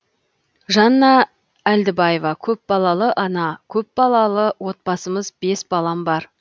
жанна әлдібаева көпбалалы ана көпбалалы отбасымыз бес балам бар